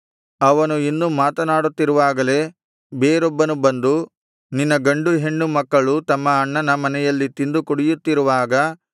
ಅವನು ಇನ್ನು ಮಾತನಾಡುತ್ತಿರುವಾಗಲೆ ಬೇರೊಬ್ಬನು ಬಂದು ನಿನ್ನ ಗಂಡು ಹೆಣ್ಣು ಮಕ್ಕಳು ತಮ್ಮ ಅಣ್ಣನ ಮನೆಯಲ್ಲಿ ತಿಂದು ಕುಡಿಯುತ್ತಿರುವಾಗ